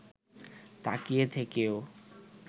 তাকিয়ে থেকেও